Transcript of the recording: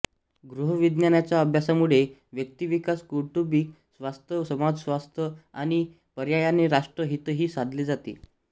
गृहविज्ञानाच्या अभ्यासामुळे व्यक्तिविकास कौटुंबिक स्वास्थ्य समाजस्वास्थ्य आणि पर्यायाने राष्ट्र हितही साधले जाते